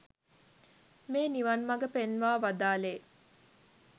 මේ නිවන් මග පෙන්වා වදාළේ.